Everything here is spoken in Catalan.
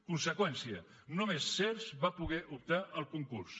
conseqüència només sehrs va poder optar al concurs